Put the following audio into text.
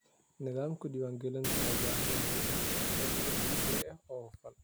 Nidaamka diiwaangelintu wuxuu u baahan yahay inuu noqdo mid casri ah oo hufan.